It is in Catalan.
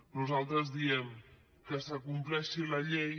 nosaltres diem que s’acompleixi la llei